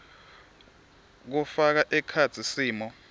kufaka ekhatsi simo